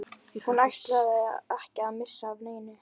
Hún ætlaði ekki að missa af neinu.